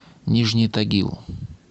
нижний тагил